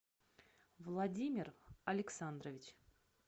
владимир александрович